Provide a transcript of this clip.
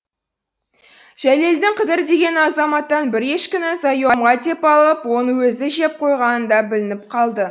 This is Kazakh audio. жәлелдің қыдыр деген азаматтан бір ешкіні заемға деп алып оны өзі жеп қойғаны да білініп қалды